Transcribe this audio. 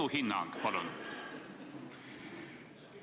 Sinu hinnang, palun!